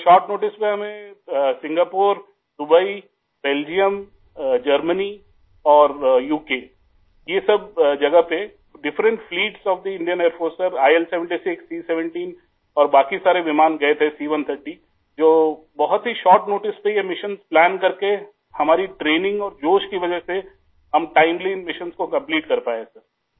sir short notice पे हमें Singapore Dubai Belgium Germany और उक आई यह सब जगह पे डिफरेंट फ्लीट्स ओएफ थे Indian Air Force sir IL76 C17 और बाकी सारे विमान गए थे C130 जो बहुत ही शॉर्ट नोटिस पे यह मिशन्स प्लान करके आई हमारी ट्रेनिंग और जोश की वजह से हम टाइमली इन मिशन्स को कंप्लीट कर पाए सर आई